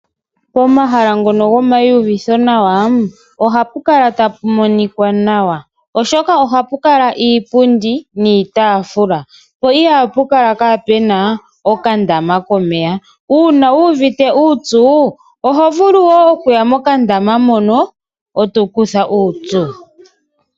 Pomahala ngono gwomayiyuvitho nawa, ohapu kala tapu monika nawa oshoka ohapu kala iipundi niitafula , po ihapu kala kapuna okandama komeya ,uuna wu uvite uupyu oho vulu okuya mokandama mono eto ikutha uupyu.